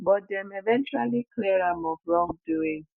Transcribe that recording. but dem eventually clear am of wrongdoing